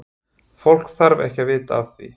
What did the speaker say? Fólk þarf ekki að vita af því.